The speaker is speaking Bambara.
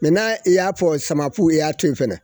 Mɛ n'a i y'a fɔ samafu i y'a to in fɛnɛ